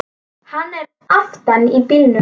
Hann er aftan í bílnum!